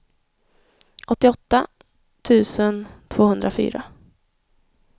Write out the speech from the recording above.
åttioåtta tusen tvåhundrafyra